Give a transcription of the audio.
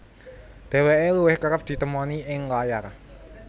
Dheweke luwih kereb ditemoni ing layar